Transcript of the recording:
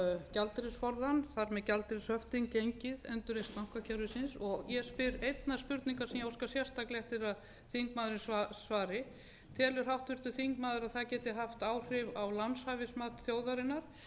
gjaldeyrisforðann þar með gjaldeyrishöftin gengið endurreisn bankakerfisins og ég spyr einnar spurningar sem ég óska sérstaklega eftir að þingmaðurinn svari telur háttvirtur þingmaður að það geti haft áhrif á lánshæfismat þjóðarinnar